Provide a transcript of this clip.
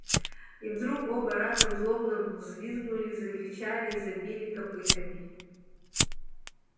и вдруг оба разом злобно взвизгнули закричали и забили копытами